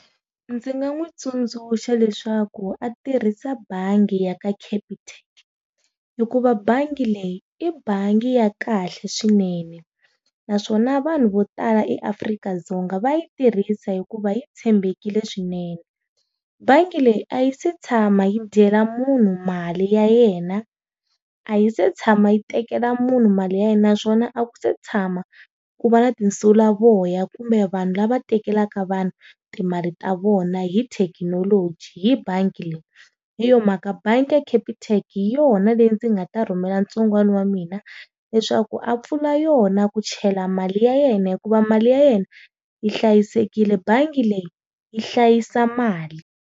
Ndzi nga n'wi tsundzuxa leswaku a tirhisa bangi ya ka Capitec. Hikuva bangi leyi, i bangi ya kahle swinene naswona vanhu vo tala eAfrika-Dzonga va yi tirhisa hikuva yi tshembekile swinene. Bangi leyi a yi si tshama yi dyela munhu mali ya yena, a yi si tshama yi tekela munhu mali ya yena naswona a ku si tshama ku va na tinsulavoya kumbe vanhu lava tekela vanhu timali ta vona hi thekinologi hi bangi leyi. Hi yona mhaka bangi ya Capitec hi yona leyi ndzi nga ta rhumela ntsongwani wa mina leswaku a pfula yona ku chela mali ya yena hikuva mali ya yena, yi hlayisekile. Bangi leyi yi hlayisa mali.